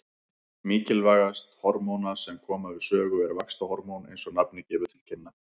Mikilvægast hormóna sem koma við sögu er vaxtarhormón eins og nafnið gefur til kynna.